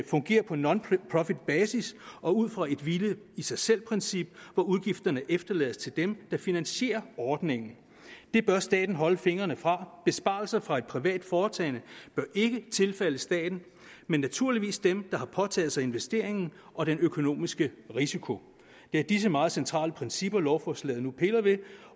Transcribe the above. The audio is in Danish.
fungerer på nonprofitbasis og ud fra et hvile i sig selv princip hvor udgifterne efterlades til dem der finansierer ordningen det bør staten holde fingrene fra besparelser fra et privat foretagende bør ikke tilfalde staten men naturligvis dem der har påtaget sig investeringen og den økonomiske risiko det er disse meget centrale principper lovforslaget nu piller ved